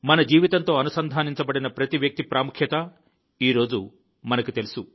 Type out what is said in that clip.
మన జీవితంతో అనుసంధానించబడిన ప్రతి వ్యక్తి ప్రాముఖ్యత ఈరోజు మనకు తెలుసు